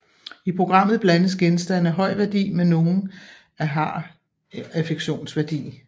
I programmet blandes genstande af høj værdi med nogle af har affektionsværdi